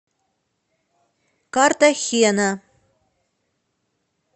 картахена